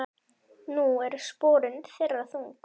Nú eru sporin þeirra þung.